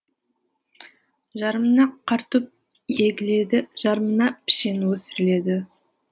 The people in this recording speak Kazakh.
жарымына картоп егіледі жарымына пішен өсіріледі